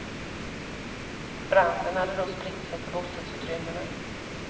Branden hade då spritt sig till bostadsutrymmena.